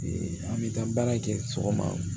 an bɛ taa baara kɛ sɔgɔma